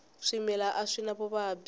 swimila a swi na vuvabyi